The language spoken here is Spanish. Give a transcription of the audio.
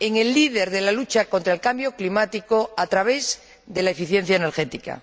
en el líder de la lucha contra el cambio climático a través de la eficiencia energética.